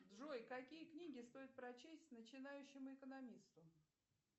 джой какие книги стоит прочесть начинающему экономисту